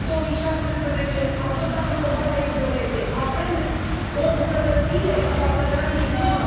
Anul 2017 a fost anul combaterii violenței, avem o îmbunătățire față de anii din urmă.